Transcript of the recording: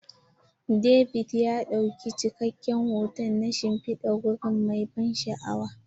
David ya ɗauki cikakken hoto na shimfidar wuri mai ban sha'awa.